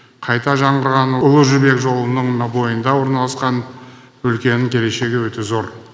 қайта жаңғырған ұлы жібек жолының бойында орналасқан өлкенің келешегі өте зор